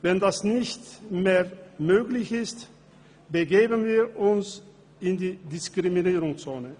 Ist dies nicht mehr möglich, begeben wir uns in die Diskriminierungszone.